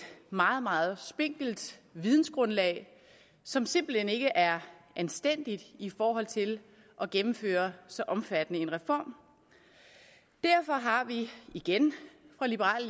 meget meget spinkelt vidensgrundlag som simpelt hen ikke er anstændigt i forhold til at gennemføre så omfattende en reform derfor har vi igen fra liberal